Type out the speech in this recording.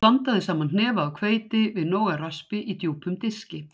Blandaðu saman hnefa af hveiti við nóg af raspi í djúpum diski.